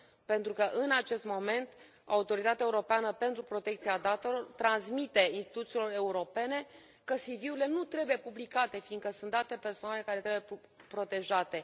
pentru că, în acest moment, Autoritatea Europeană pentru Protecția Datelor transmite instituțiilor europene că CV urile nu trebuie publicate fiindcă sunt date personale care trebuie protejate.